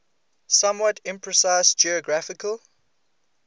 somewhat imprecise geographical